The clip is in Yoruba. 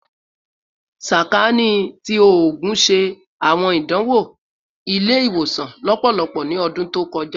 Sakaani ti Oogun ṣe awọn idanwo ile-iwosan lọpọlọpọ ni ọdun to kọja